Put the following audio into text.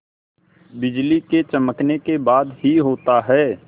बिजली के चमकने के बाद ही होता है